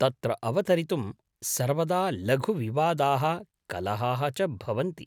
तत्र अवतरितुं सर्वदा लघुविवादाः, कलहाः च भवन्ति।